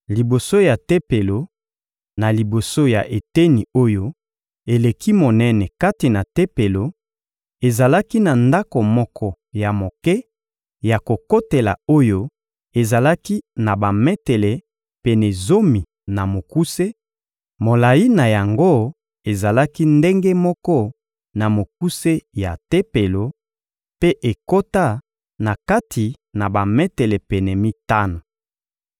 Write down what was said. Liboso ya Tempelo, na liboso ya eteni oyo eleki monene kati na Tempelo, ezalaki na ndako moko ya moke ya kokotela oyo ezalaki na bametele pene zomi na mokuse; molayi na yango ezalaki ndenge moko na mokuse ya Tempelo; mpe ekota na kati na bametele pene mitano.